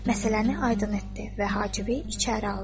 Məsələni aydın etdi və Hacibi içəri aldı.